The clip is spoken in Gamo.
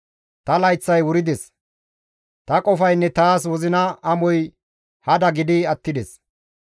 Ta layththay wurides; ta qofaynne taas wozina amoy hada gidi attides.